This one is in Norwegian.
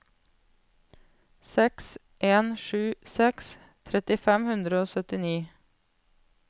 seks en sju seks tretti fem hundre og syttini